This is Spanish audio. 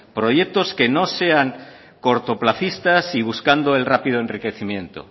proyectos que no sean cortoplazistas y buscando el rápido enriquecimiento